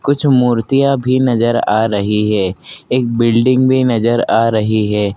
कुछ मूर्तियां भी नजर आ रही है एक बिल्डिंग भी नजर आ रही है।